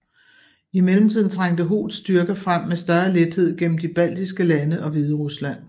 I mellemtiden trængte Hoths styrker frem med større lethed gennem de baltiske lande og Hviderusland